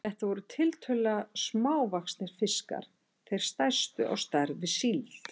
Þetta voru tiltölulega smávaxnir fiskar, þeir stærstu á stærð við síld.